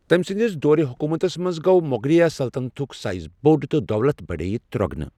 تٔمۍ سنٛدس دورِ حکومتس منٛز گوٚو مۄغلیہ سلطنتُک سایِز بوٚڑ تہٕ دولت بڑییہ ترۄگنہٕ۔